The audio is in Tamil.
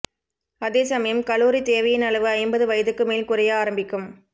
அதே சமயம் கலோரி தேவையின் அளவு ஐம்பது வயதுக்கு மேல் குறைய ஆரம்பிக்கும்